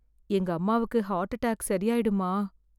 எங்க அம்மாவுக்கு heart attack சரியாயிடுமா?